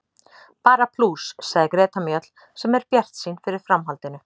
Bara plús, sagði Greta Mjöll sem er bjartsýn fyrir framhaldinu.